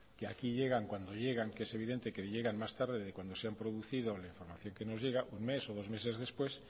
y aquí llegan cuando llegan que es evidente que llegan más tarde de cuando se ha producido la información que nos llega un mes o dos meses después